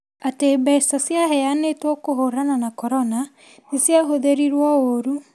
atĩ mbeca ciaheanĩtwo kũhurana na Korona nĩ ciahothĩrĩruo ũũru,